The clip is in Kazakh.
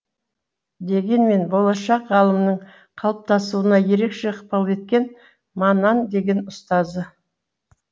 дегенмен болашақ ғалымның қалыптасуына ерекше ықпал еткен маннан деген ұстазы